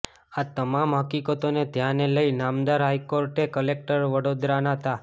આ તમામ હકીકતોને ધ્યાને લઈ નામદાર હાઇકોર્ટે કલેક્ટર વડોદરાનો તા